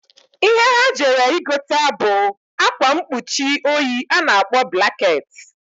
Ihe ha jere igota bu akwa nkpuchi oyi a na-akpọ blaket..